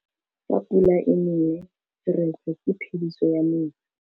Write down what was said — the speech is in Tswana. Fa pula e nelê serêtsê ke phêdisô ya metsi.